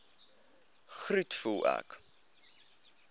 groet voel ek